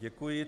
Děkuji.